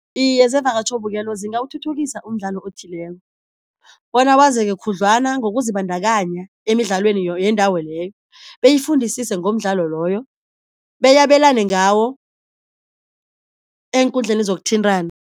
Iye zevakatjhobukelo zingawuthuthukisa umdlalo othileko bona wazeke khudlwana, ngokuzibandakanya emidlalweni yendawo leyo beyifundisise ngomdlalo loyo beyabelane ngawo eenkundleni zokuthintana.